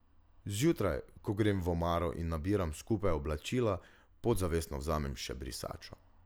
Zjutraj, ko grem v omaro in nabiram skupaj oblačila, podzavestno vzamem še brisačo.